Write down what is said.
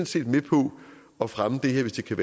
set med på at fremme det her hvis det kan